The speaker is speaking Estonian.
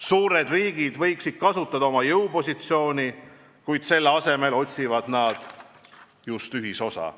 Suured riigid võiksid kasutada oma jõupositsiooni, kuid selle asemel otsivad nad just ühisosa.